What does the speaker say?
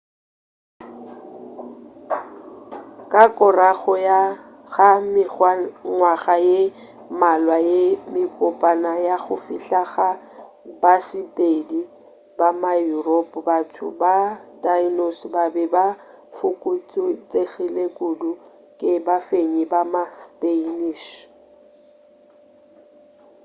ka korago ga mengwaga ye mmalwa ye mekopana ya go fihla ga basepedi ba ma-europe batho ba tainos ba be ba fokotšegile kudu ke bafenyi ba ma-spanish